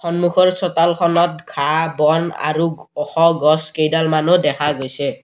সন্মুখৰ চোতালখনত ঘাঁহ বন আৰু ওখ গছ কেইডালমানো দেখা গৈছে।